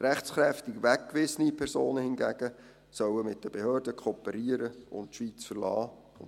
Rechtskräftig weggewiesene Personen hingegen sollen mit den Behörden kooperieren und die Schweiz verlassen;